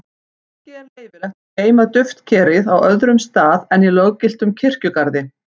Ekki er leyfilegt að geyma duftkerið á öðrum stað en í löggiltum kirkjugarði.